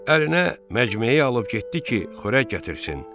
Əlinə məcmeyi alıb getdi ki, xörək gətirsin.